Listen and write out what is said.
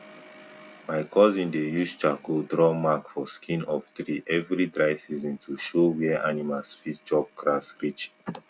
my cousin dey use charcoal draw mark for skin of tree every dry season to show where animals fit chop grass reach